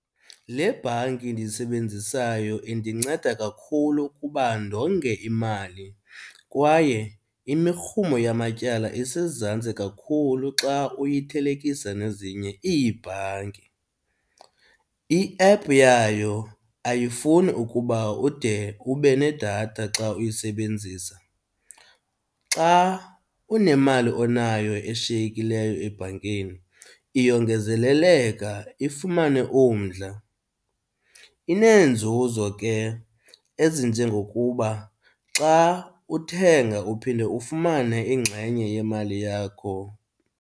Le bhanki ndiyisebenzisayo indinceda kakhulu ukuba ndonge imali kwaye imirhumo yamatyala isezantsi kakhulu xa uyithelekisa nezinye iibhanki. I-app yayo ayifuni ukuba ude ube nedatha xa uyisebenzisa. Xa unemali onayo eshiyekileyo ebhankini iyongezeleleka ifumane umdla. Ineenzuzo ke ezinjengokuba xa uthenga uphinde ufumane ingxenye yemali yakho.